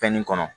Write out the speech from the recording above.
Fɛn nin kɔnɔ